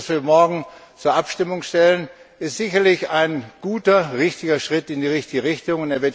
Das Paket, das wir morgen zur Abstimmung stellen, ist sicherlich ein guter und richtiger Schritt in die richtige Richtung.